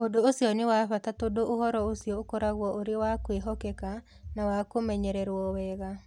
Ũndũ ũcio nĩ wa bata tondũ ũhoro ũcio ũkoragwo ũrĩ wa kwĩhokeka na wa kũmenyererũo wega.